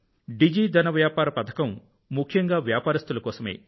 డిజి ధన్ వ్యాపార పథకం ముఖ్యంగా వ్యాపారస్తుల కోసమే